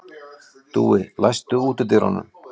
Dúi, læstu útidyrunum.